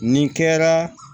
Nin kɛra